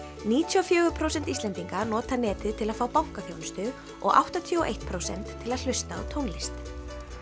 níutíu og fjögur prósent Íslendinga nota netið til að fá bankaþjónustu og áttatíu og eitt prósent til að hlusta á tónlist